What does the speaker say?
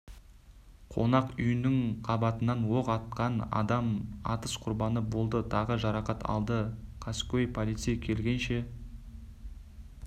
қонақ үйініің қабатынан оқ атқан адам атыс құрбаны болды тағы жарақат алды қаскөй полиция келгенше